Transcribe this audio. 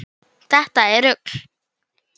Þetta er rugl.